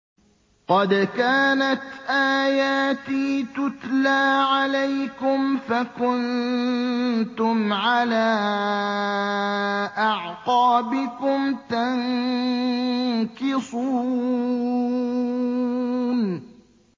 قَدْ كَانَتْ آيَاتِي تُتْلَىٰ عَلَيْكُمْ فَكُنتُمْ عَلَىٰ أَعْقَابِكُمْ تَنكِصُونَ